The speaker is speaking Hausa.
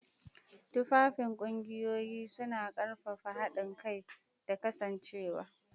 Tufafin kungiyoyin, suna ƙarfafa haɗin kai da kasancewa.